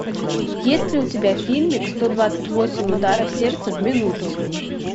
есть ли у тебя фильмик сто двадцать восемь ударов сердца в минуту